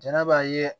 Jɛnɛ b'a ye